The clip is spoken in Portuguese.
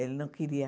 Ele não queria.